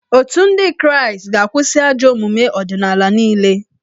Otù ndị kraịstị ga-akwụsị ajọ omume ọdịnala niile